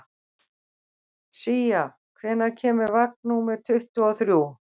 Sía, hvenær kemur vagn númer tuttugu og þrjú?